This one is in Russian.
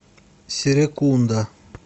серекунда